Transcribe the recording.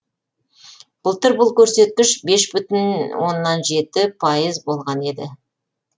былтыр бұл көрсеткіш бес бүтін оннан жеті пайыз болған еді